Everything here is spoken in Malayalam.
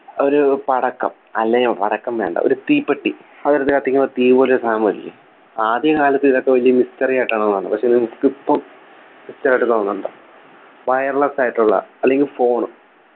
ഒരു പടക്കം അല്ലേയോ പടക്കം വേണ്ട ഒരു തീപ്പെട്ടി അത് വെറുതെ കത്തിക്കുമ്പോ തീ പോലെ ഒരു സാധനം വരില്ലേ ആദ്യകാലത്ത് ഇതൊക്കെ വലിയ ഒരു Mystery ആയിട്ടാണ് വന്നത് പക്ഷേ നിങ്ങക്ക് ഇപ്പം Mystery ആയിട്ട് തോന്നുന്നുണ്ടോ wireless ആയിട്ടുള്ള അല്ലെങ്കി phone